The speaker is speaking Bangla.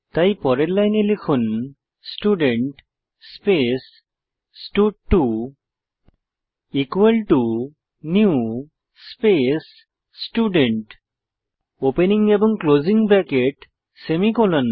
তাই পরের লাইনে লিখুন স্টুডেন্ট স্পেস স্টাড2 নিউ স্পেস স্টুডেন্ট ওপেনিং এবং ক্লোসিং ব্রেকেট সেমিকোলন